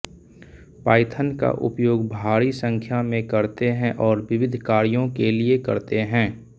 Python का उपयोग भारी संख्या में करते हैं और विविध कार्यों के लिए करते हैं